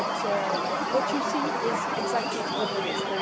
But what you see is exactly what there is.